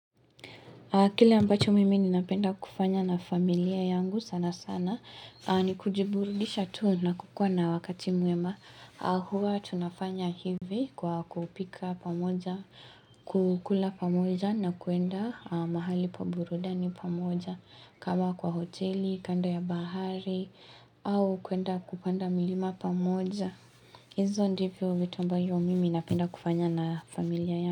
Kile ambacho mimi ni napenda kufanya na familia yangu sana sana ni kujiburudisha tu na kukua na wakati mwema huwa tunafanya hivi kwa kupika pamoja kukula pamoja na kuenda mahali pa burudani pamoja kama kwa hoteli, kando ya bahari au kuenda kupanda milima pamoja hizo ndivyo vitu ambavyo mimi napenda kufanya na familia yangu.